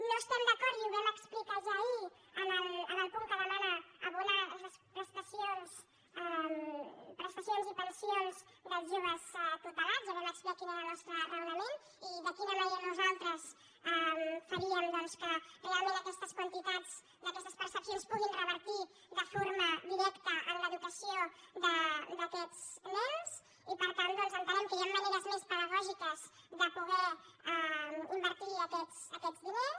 no estem d’acord i ho vam explicar ja ahir en el punt que demana abonar aquestes prestacions i pensions dels joves tutelats ja vam explicar quin era el nostre raonament i de quina manera nosaltres faríem doncs que realment aquestes quantitats d’aquestes percepcions puguin revertir de forma directa en l’educació d’aquests nens i per tant doncs entenem que hi han maneres pedagògiques de poder invertir aquests diners